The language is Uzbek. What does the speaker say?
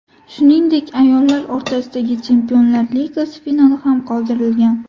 Shuningdek, ayollar o‘rtasidagi Chempionlar Ligasi finali ham qoldirilgan.